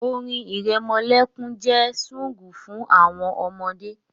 Lullabies are sunfg for babies